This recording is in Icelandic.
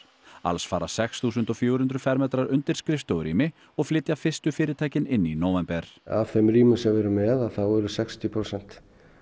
alls fara sex þúsund fjögur hundruð fermetrar undir skrifstofurými og flytja fyrstu fyrirtækin inn í nóvember af þeim rýmum sem við erum með eru sextíu prósent